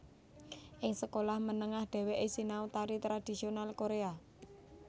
Ing sekolah menengah dheweke sinau tari tradisional Koréa